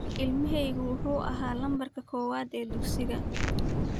Ilmahaygu wuxuu ahaa lambarka koowaad ee dugsiga.